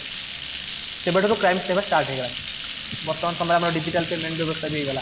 ସେବେ ଠାରୁ କ୍ରାଇମ ହେବା ଷ୍ଟାର୍ଟ ହେଇଗଲା ବର୍ତ୍ତମାନ ସମୟରେ ଆମର ଡିଜିଟାଲ ପେମେଣ୍ଟ ବ୍ୟବସ୍ଥା ବି ହେଇଗଲା